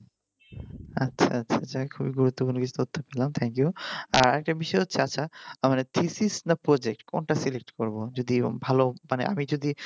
আচ্ছা আচ্ছা যাক একটা খুব গুরুত্বপূর্ণ বিষয় শিখলাম thank you আর আরেকটা বিষয় হচ্ছে আমার থিথিস বা project কোনটা select করবো মানে আমি যদি